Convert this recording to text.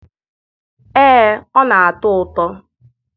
ee ọ na-atọ ụtọ.